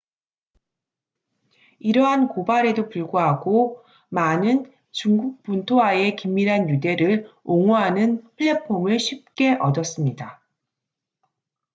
이러한 고발에도 불구하고 마는 중국 본토와의 긴밀한 유대를 옹호하는 플랫폼을 쉽게 얻었습니다